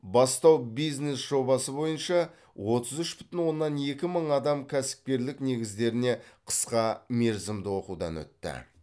бастау бизнес жобасы бойынша отыз үш бүтін оннан екі мың адам кәсіпкерлік негіздеріне қысқа мерзімді оқытудан өтті